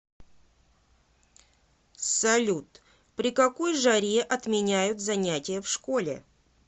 салют при какой жаре отменяют занятия в школе